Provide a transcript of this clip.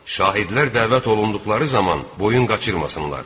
Şahidlər dəvət olunduqları zaman boyun qaçırmasınlar.